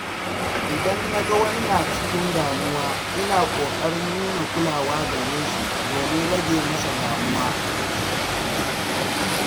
Idan na ga wani yana cikin damuwa, ina ƙoƙarin nuna kulawa gare shi domin rage masa damuwa.